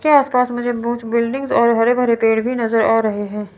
के आस पास मुझे कुछ बिल्डिंग और हरे भरे पेड़ भी नजर आ रहे हैं।